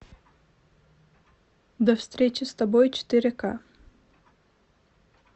до встречи с тобой четыре ка